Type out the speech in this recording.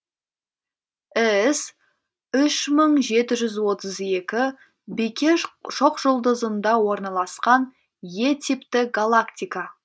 іс үш мың жеті жүз отыз екі бикеш шоқжұлдызында орналасқан е типті галактика